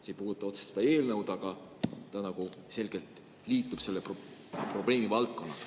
See ei puuduta otseselt seda eelnõu, aga see küsimus selgelt liitub selle valdkonnaga.